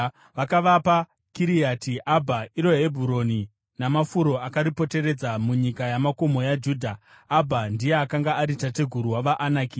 Vakavapa Kiriati Abha (iro Hebhuroni), namafuro akaripoteredza, munyika yamakomo yaJudha. (Abha ndiye akanga ari tateguru wavaAnaki.)